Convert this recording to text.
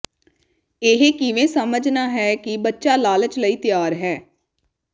ਇਹ ਕਿਵੇਂ ਸਮਝਣਾ ਹੈ ਕਿ ਬੱਚਾ ਲਾਲਚ ਲਈ ਤਿਆਰ ਹੈ